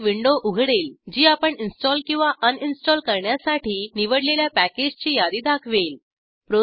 एक विंडो उघडेल जी आपण इंस्टॉल किंवा अनइंस्टॉल करण्यासाठी निवडलेल्या पॅकेजची यादी दाखवेल